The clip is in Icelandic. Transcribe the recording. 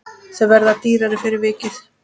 Þau verða dýrari fyrir vikið.